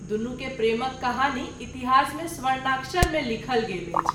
दुनू के प्रेमक कहानी इतिहास मे स्वर्णाक्षर मे लिखल गेल अछि।